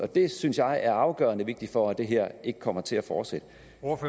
det synes jeg er afgørende vigtigt for at det her ikke kommer til at fortsætte